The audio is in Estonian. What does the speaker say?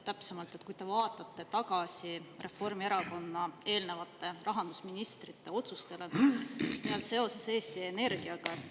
Täpsemalt, vaatame tagasi Reformierakonna eelnevate rahandusministrite otsustele seoses Eesti Energiaga.